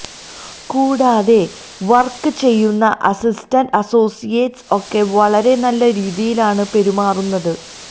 കൂടാതെ വർക്ക് ചെയ്യുന്ന assistant associates ഒക്കെ വളരെ നല്ല രീതിയിൽ ആണ് പെരുമാറുന്നത്